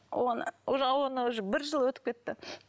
оны уже оған уже бір жыл өтіп кетті